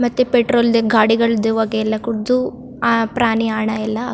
ಮತ್ತೆ ಪೆಟ್ರೋಲ್ ಗಾಡಿಗಳ್ ದು ಹೋಗೆ ಎಲ್ಲಾ ಕುಡ್ದು ಆ ಪ್ರಾಣಿ ಹಣ ಎಲ್ಲಾ ಆಗತ್ತಾ ಇದೆ.